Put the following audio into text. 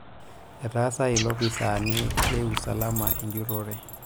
etaasa ilopisaani le usalamu enjurrore